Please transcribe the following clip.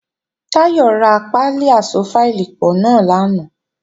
Táyọ̀ ra pálí aṣọ fáìlì pọ̀ náà lánàá